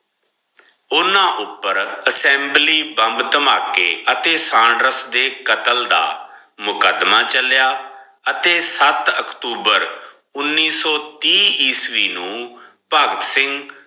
ਓਨਾ ਉਪਰ assembly bomb ਧਮਾਕੇ ਅਤੇ ਸਾਂਡਰਸ ਦੇ ਕਤਲ ਦਾ ਮੁਕ਼ਦ੍ਮਾ ਚੱਲਿਆ ਅਤੇ ਸਤ ਅਕਟੂਬਰ ਉਨੀ ਸੋ ਤੀਹ ਈਸਵੀ ਨੂ ਭਗਤ ਸਿੰਘ